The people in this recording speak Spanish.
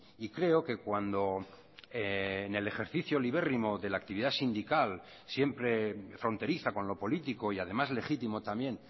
y creo que cuando en el ejercicio libérrimo de la actividad sindical siempre fronteriza con lo político y además legítimo también